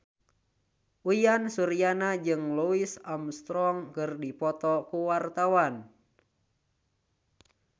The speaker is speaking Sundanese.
Uyan Suryana jeung Louis Armstrong keur dipoto ku wartawan